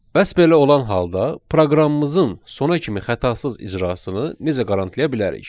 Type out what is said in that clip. Bəs belə olan halda proqramımızın sona kimi xətasız icrasını necə qarantlaya bilərik?